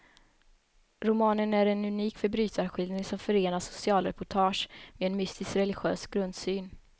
Romanen är en unik förbrytarskildring som förenar socialreportage med en mystisk religiös grundsyn.